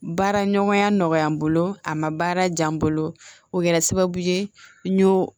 Baara ɲɔgɔnya nɔgɔya n bolo a ma baara diya n bolo o kɛra sababu ye n y'o